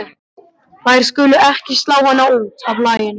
Þær skulu ekki slá hana út af laginu.